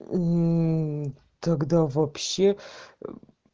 тогда вообще